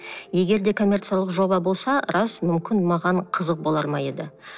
егер де коммерциялық жоба болса рас мүмкін маған қызық болар ма еді